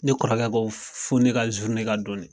Ne kɔrɔkɛ ko fo ne ka ka don de.